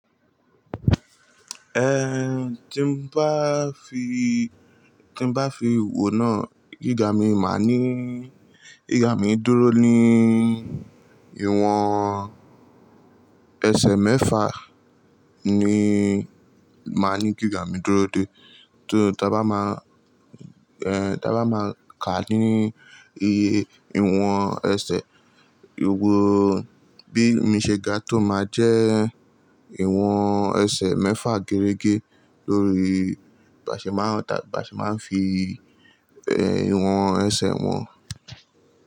Eh, tí n bá fi, tí n bá fi wò náà gíga mi máa ní, gíga mi dúró ní ìwọ̀n ẹsẹ̀ mẹ́fà ni máa ní gíga mi dúró dé. To ta bá máa, eh ta bá máa ká ní iye ìwọ̀n ẹsẹ̀, ìwo bí mi ṣe ga tó máa jẹ́ ìwọ̀n ẹsẹ̀ mẹ́fà gẹ́rẹ́gẹ́ lórí, bàṣe máa ń, bàṣe máa ń fi eh ìwọ̀n ẹsẹ̀ wọn.